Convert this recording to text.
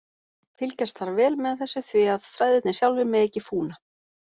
Fylgjast þarf vel með þessu því að þræðirnir sjálfir mega ekki fúna.